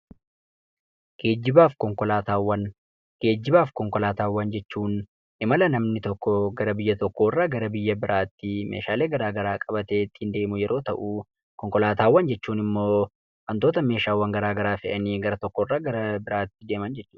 Gaajjibaa fi konkolaataawwan. Geejjibaaf konkolaataawwan jechuun imala namni tokko gara biyya tokko irraa gara biyya biraatti meeshaalee garaa garaa qabatee ittiin deemu yeroo ta'u, konkolaataawwan jechuun immoo wantoota meeshaawwan garaa garaa fe'anii gara tokko irraa gara biraatti deeman jechuudha.